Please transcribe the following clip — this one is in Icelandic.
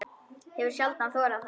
Hefur sjaldan þorað það.